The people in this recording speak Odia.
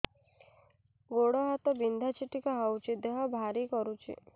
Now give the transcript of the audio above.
ଗୁଡ଼ ହାତ ବିନ୍ଧା ଛିଟିକା ହଉଚି ଦେହ ଭାରି କରୁଚି